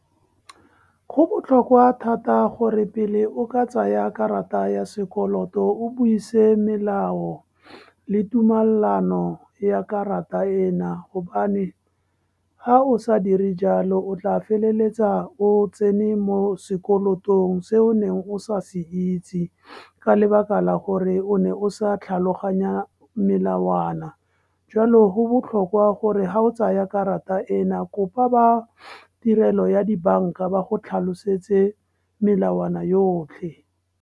Go botlhokwa thata gore pele o ka tsaya karata ya sekoloto, o buise melao le tumalano ya karata ena. Gobane ha o sa dire jalo, o tla feleletsa o tsene mo sekoloto se o neng o sa se itse ka lebaka la gore o ne o sa tlhaloganya melawana, jwalo go botlhokwa gore ha o tsaya karata ena, kopa ba tirelo ya dibanka ba go tlhalosetse melawana yotlhe.